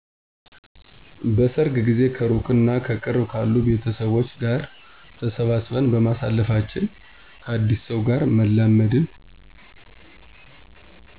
በሰርግ ጊዜ ከእሩቅም እና ከቅርብ ካሉ ቤተሰቦች ጋር ተሰባስበን በማሳለፋችን፣ ከአዲስ ሰው ጋር መላመድን